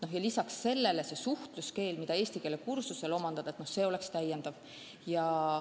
Ja lisaks sellele saab suhtluskeelt omandada eesti keele kursusel, see oleks täiendav õpe.